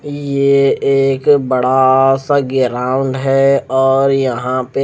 ये एक बड़ा सा ग्राउंड है और यहा पे--